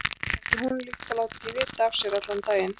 Það er ekki líkt honum að láta ekki vita af sér allan daginn.